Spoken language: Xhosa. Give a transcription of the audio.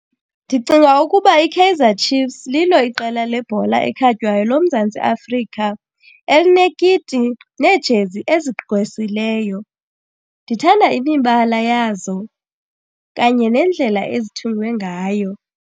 Ndicinga ukuba iKaizer Chiefs lilo iqela lebhola ekhatywayo loMzantsi Afrika elinekiti neejezi ezigqwesileyo. Ndithanda imibala yazo kanye nendlela ezithungwe ngayo.